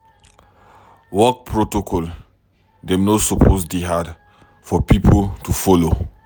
Wen protocol dey tight, you suppose find way do your work.